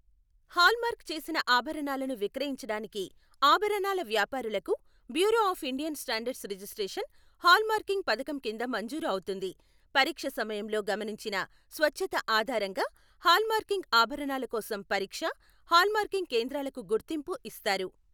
Hallmark చేసిన ఆభరణాలను విక్రయించడానికి ఆభరణాల వ్యాపారులకు bureau of Indian standards registration hallmarking పథకం కింద మంజూరు అవుతుంది, పరీక్ష సమయంలో గమనించిన స్వచ్ఛత ఆధారంగా హాల్మార్కింగ్ ఆభరణాల కోసం పరీక్ష, హాల్మార్కింగ్ కేంద్రాలకు గుర్తింపు ఇస్తారు.